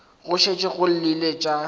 go šetše go llile tša